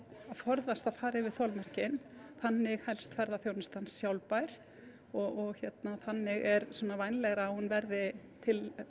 að forðast að fara yfir þolmörkin þannig helst ferðaþjónustan sjálfbær og þannig er vænlegra að hún verði til